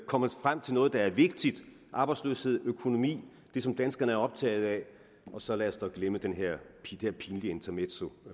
komme frem til noget der er vigtigt arbejdsløshed økonomi det som danskerne er optaget af og så lad os dog glemme det her pinlige intermezzo